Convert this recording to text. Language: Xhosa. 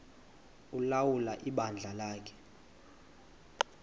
ulawula ibandla lakhe